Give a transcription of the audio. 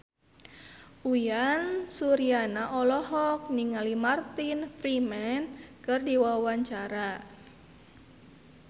Uyan Suryana olohok ningali Martin Freeman keur diwawancara